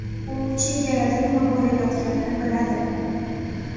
U chegarada nima bo‘layotganini biladi.